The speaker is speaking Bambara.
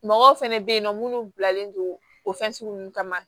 Mɔgɔw fɛnɛ be yen nɔ munnu bilalen do o nunnu kama